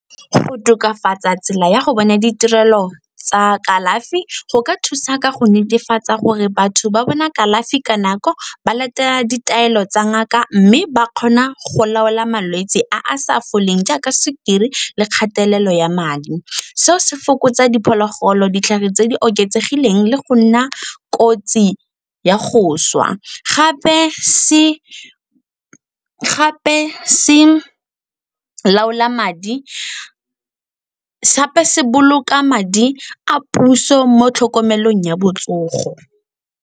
Go tokafatsa tsela ya go bona ditirelo tsa kalafi go ka thusa ka go netefatsa gore batho ba bona kalafi ka nako, ba latela ditaelo tsa ngaka mme ba kgona go laola malwetse a a sa foleng jaaka sukiri le kgatelelo ya madi. Seo se fokotsa diphologolo, ditlhare tse di oketsegileng le go nna kotsi ya go swa. Gape se boloka madi a puso mo tlhokomelong ya botsogo.